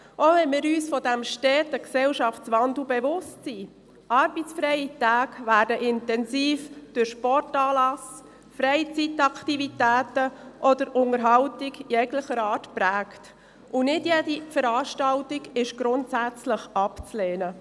Auch wenn wir uns dieses steten Gesellschaftswandels bewusst sind – arbeitsfreie Tage werden intensiv durch Sportanlässe, Freizeitaktivitäten oder Unterhaltung jeglicher Art geprägt, und nicht jede Veranstaltung ist grundsätzlich abzulehnen.